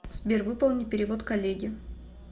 сбер выполни перевод коллеге